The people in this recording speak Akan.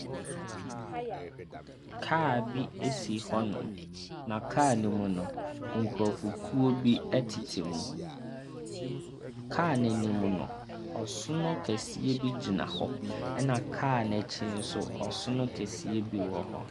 Kaa bi si hɔnom, na kaa no mu no, nkurɔfokuo bi tete mu. Kaa no anim no, ɔsono kɛseɛ bi gyina hɔ, ɛnna kaa no akyi nso, ɔsono kɛseɛ bi wɔ hɔ.